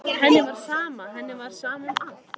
Henni var sama, henni var sama um allt.